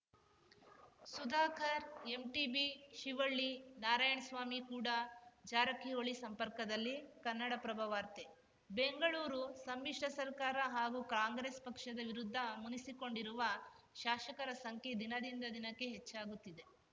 Sudhakar MTB Shivalli Narayanaswamy ಕೂಡ ಜಾರಕಿಹೊಳಿ ಸಂಪರ್ಕದಲ್ಲಿ ಕನ್ನಡಪ್ರಭ ವಾರ್ತೆ ಬೆಂಗಳೂರು ಸಮ್ಮಿಶ್ರ ಸರ್ಕಾರ ಹಾಗೂ ಕಾಂಗ್ರೆಸ್‌ ಪಕ್ಷದ ವಿರುದ್ಧ ಮುನಿಸಿಕೊಂಡಿರುವ ಶಾಸಕರ ಸಂಖ್ಯೆ ದಿನದಿಂದ ದಿನಕ್ಕೆ ಹೆಚ್ಚಾಗುತ್ತಿದೆ